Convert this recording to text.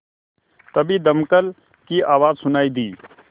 तभी दमकल की आवाज़ सुनाई दी